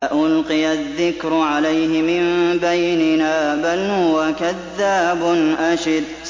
أَأُلْقِيَ الذِّكْرُ عَلَيْهِ مِن بَيْنِنَا بَلْ هُوَ كَذَّابٌ أَشِرٌ